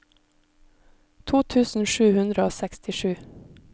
to tusen sju hundre og sekstisju